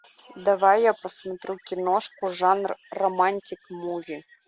давай я посмотрю киношку жанр романтик муви